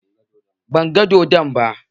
Ban gan dodon ba